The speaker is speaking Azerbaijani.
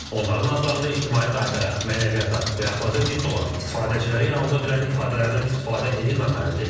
Onların adlarında ictimai qayıtaya, mənəviyyata və əxlaqa zidd olan istifadəçiləri yanılda bilən ifadələrdən istifadə edilməməlidir.